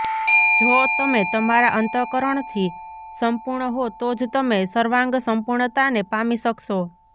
જો તમે તમારા અંતકરણથી સંપૂર્ણ હો તો જ તમે સર્વાંગસંપૂર્ણતાને પામી શકશો